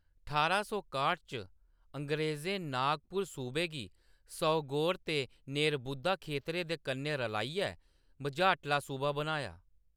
ठारां सौ काह्ट च, अंग्रेजें नागपुर सूबे गी सौगोर ते नेरबुद्दा खेतरें दे कन्नै रलाइयै मझाटला सूबा बनाया।